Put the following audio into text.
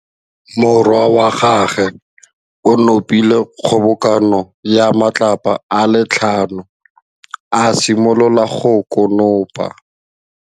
Morwa wa gagwe o nopile kgobokanô ya matlapa a le tlhano, a simolola go konopa.